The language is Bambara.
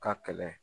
Ka kɛlɛ